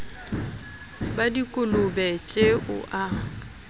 ba dikolobe tje o a